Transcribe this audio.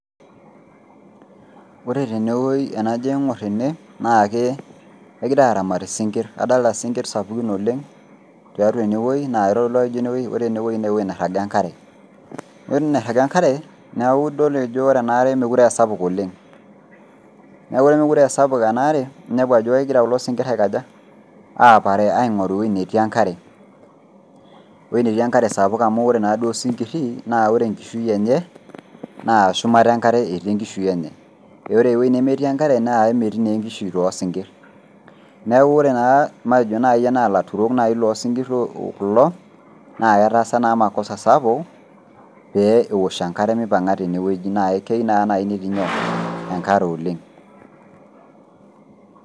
Ore tene wueji tenajo aingor tene na ke kegira aramat isinkir. Kadolta isinkir sapukin tiatua ene wueji naa kitodolu ajo ore ene wuei naa ewuei niraga enakare . Ore ewueji niraga enkare niaku idol ajo meekure aa sapuk enkare oleng . Niaku ore misapuk enaare ninepu ajokegira kulo sinkir aikaja aapare aingoru ewueji netii enkare, ewueji netii enkare sapuk ore naaduo osinkiri naa ore enkishui enye naa shumata enakare , naa ore ewuiei nemetii enkare naa emetii naa enkishui toosinkir. Niaku ore naa , matejo naji naa ilaturok loo sinkir kulo naa ketaasa naa makosa sapuk pee eosh enkare mipanga tene wueji naa keyieu naa netii naji nyoo , enkare oleng.